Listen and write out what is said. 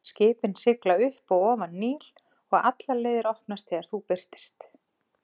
Skipin sigla upp og ofan Níl, og allar leiðir opnast þegar þú birtist.